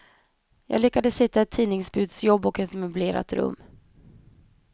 Jag lyckades hitta ett tidningsbudsjobb och ett möblerat rum.